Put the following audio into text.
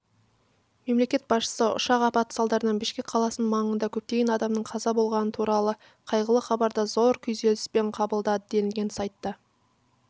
мемлекет басшысы ұшақ апаты салдарынан бішкек қаласының маңында көптеген адамның қаза болғаны туралы қайғылы хабарды зор күйзеліспен қабылдады делінген сайтта